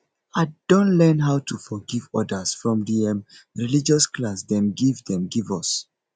i don learn how to forgive others from di um religious class dem give dem give us